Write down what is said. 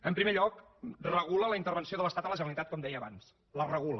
en primer lloc regula la intervenció de l’estat a la generalitat com deia abans la regula